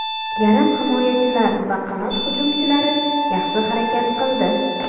Yarim himoyachilar va qanot hujumchilari yaxshi harakat qildi.